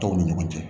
Dɔw ni ɲɔgɔn cɛ